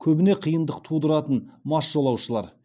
көбіне қиындық тудыратын мас жолаушылар